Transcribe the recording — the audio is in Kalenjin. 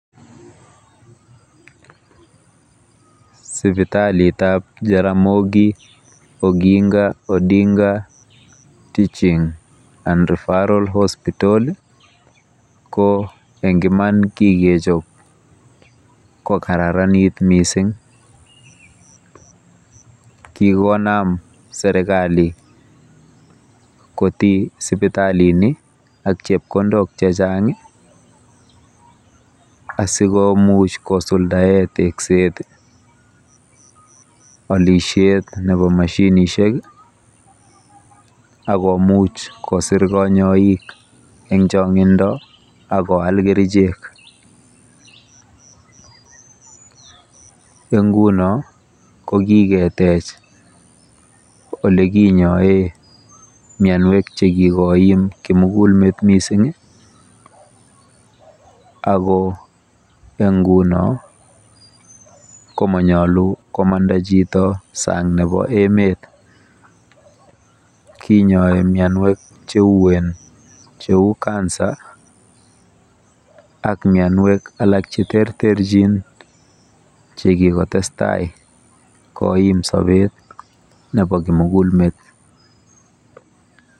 Sipitalitab Jaramogi Oginga Odinga teaching and refferal hospotal ko eng iman kikechob kokararanit mising. Kikonam serikali koti sipitalini ak chepkondok chechang asikomuch kosuldae tekset, olisiet nebo mashinishek akomuch kosir kanyoik eng chong'indo akoal kerichek. Eng nguno kokiketech olikinyoe mianwek chekikoim kimugulmet mising ako eng nguno komonyolu komanda chito kwo sang nebo emet Kinyoe mianwek cheuen cheu Cancer ak mianwek alak cheterterchin chekikotestai koim sobet nebo kimugulmet.